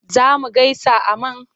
Za mu gaisa a man?